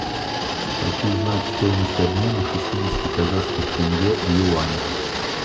хочу знать стоимость обмена шестидесяти казахских тенге в юанях